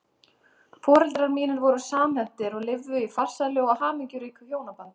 Foreldrar mínir voru samhentir og lifðu í farsælu og hamingjuríku hjónabandi.